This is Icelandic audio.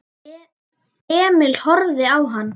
Emil horfði á hann.